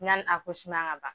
Yani ŋa ban